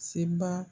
Seba